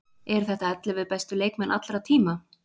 Eru þetta ellefu bestu leikmenn allra tíma?